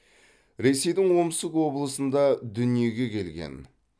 ресейдің омск облысында дүниеге келген